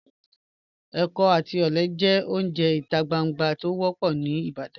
Ẹkọ àti ọlẹ jẹ ọ̀unje ita gbàngbà tí o wọ́pọ̀ ni Ìbàdàn.